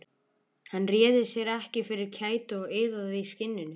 Hann réði sér ekki fyrir kæti og iðaði í skinninu.